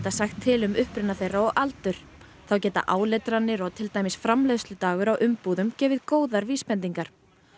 sagt til um uppruna þeirra og aldur þá geta áletranir og til dæmis framleiðsludagur á umbúðum gefið góðar vísbendingar